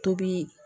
Tobi